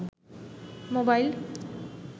mobile